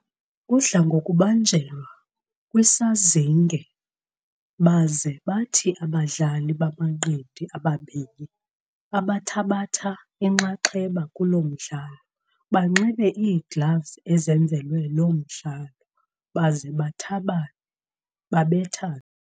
udla ngokubanjelwa kwisazinge baze bathi abadlali bamanqindi ababini abathabatha inxaxheba kulo mdlalo banxibe iigloves ezenzelwe lo mdlalo baze bathabane babethane.